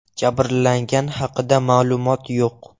Jabrlanganlar haqida ma’lumot yo‘q.